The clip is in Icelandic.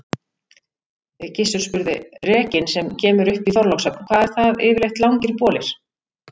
Gizur spurði:-Rekinn sem kemur upp í Þorlákshöfn, hvað eru það yfirleitt langir bolir?